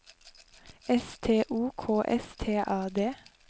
S T O K S T A D